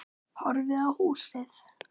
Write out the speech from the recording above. Horfði á húsið.